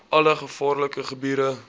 alle gevaarlike gebiede